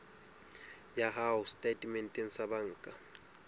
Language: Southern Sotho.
ya hao setatementeng sa banka